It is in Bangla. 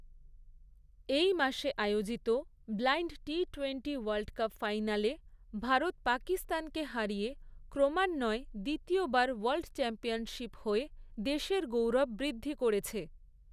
এই মাসে আয়োজিত ব্লাইণ্ড টি টোয়েন্টি ওয়ার্ল্ডকাপ ফাইনালে ভারত পাকিস্তানকে হারিয়ে ক্রমান্বয়ে দ্বিতীয় বার ওয়ার্ল্ডচ্যাম্পিয়ন হয়ে দেশের গৌরব বৃদ্ধি করেছে।